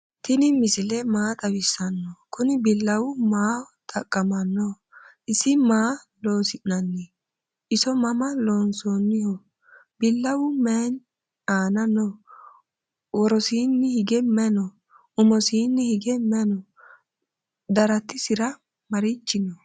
tini misile maa xawisano? kuuni bilawu maaho xaqamano? isini maa loosi'nani? isomama lonsoniho? bilawu maayi aana no?worosinihige mayi no?umosini hige mayi no?daratisira marichi no?